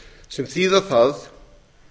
sem þýðir það